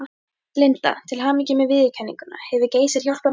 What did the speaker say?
Linda: Til hamingju með viðurkenninguna, hefur Geysir hjálpað mörgum?